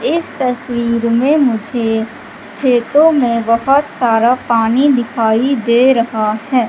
इस तस्वीर में मुझे खेतों में बहोत सारा पानी दिखाई दे रहा है।